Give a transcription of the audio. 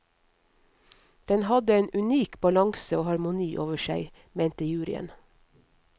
Den hadde en unik balanse og harmoni over seg, mente juryen.